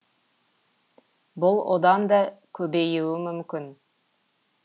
бұл одан да көбеюі мүмкін